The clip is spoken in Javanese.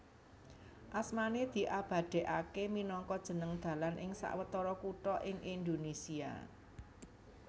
Asmané diabadèkaké minangka jeneng dalan ing sawetara kutha ing Indonésia